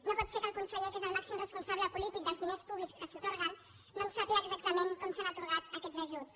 no pot ser que el conseller que és el màxim responsable polític dels di·ners públiques que s’atorguen no sàpiga exactament com s’han atorgat aquests ajuts